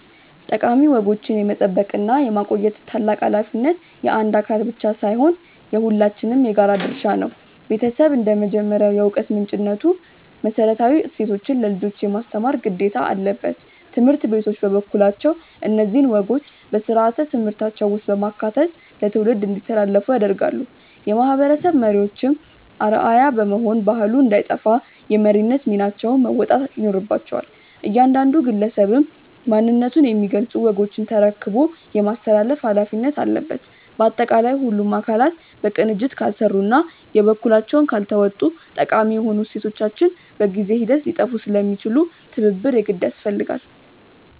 ጠቃሚ ወጎችን የመጠበቅና የማቆየት ታላቅ ኃላፊነት የአንድ አካል ብቻ ሳይሆን የሁላችንም የጋራ ድርሻ ነው። ቤተሰብ እንደ መጀመሪያው የዕውቀት ምንጭነቱ መሰረታዊ እሴቶችን ለልጆች የማስተማር ግዴታ አለበት። ትምህርት ቤቶች በበኩላቸው እነዚህን ወጎች በሥርዓተ ትምህርታቸው ውስጥ በማካተት ለትውልድ እንዲተላለፉ ያደርጋሉ። የማህበረሰብ መሪዎችም አርአያ በመሆን ባህሉ እንዳይጠፋ የመሪነት ሚናቸውን መወጣት ይኖርባቸዋል። እያንዳንዱ ግለሰብም ማንነቱን የሚገልጹ ወጎችን ተረክቦ የማስተላለፍ ኃላፊነት አለበት። ባጠቃላይ ሁሉም አካላት በቅንጅት ካልሰሩና የበኩላቸውን ካልተወጡ ጠቃሚ የሆኑ እሴቶቻችን በጊዜ ሂደት ሊጠፉ ስለሚችሉ ትብብር የግድ ያስፈልጋል።